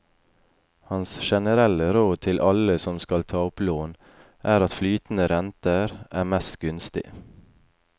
Hans generelle råd til alle som skal ta opp lån, er at flytende renter er mest gunstig.